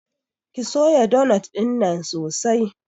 Ki soya donot ɗinnan sosai!